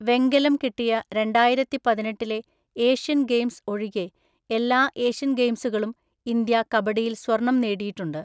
വെങ്കലം കിട്ടിയ രണ്ടായിരത്തിപതിനെട്ടിലെ ഏഷ്യൻ ഗെയിംസ് ഒഴികെ, എല്ലാ ഏഷ്യൻ ഗെയിംസുകളിലും ഇന്ത്യ കബഡിയില്‍ സ്വർണം നേടിയിട്ടുണ്ട്.